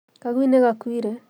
Kagui nĩ gakuire